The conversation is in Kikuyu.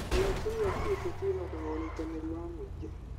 ũgacĩĩru wa kĩũteti wĩhokaga ũnyitanĩri wa mũingĩ.